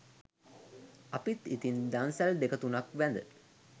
අපිත් ඉතින් දන්සල් දෙක තුනක් වැඳ